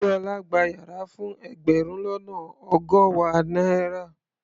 Déọlá gba yàrá fún ẹgbẹ̀rún lọ́nà ọgọ́wàá náírà.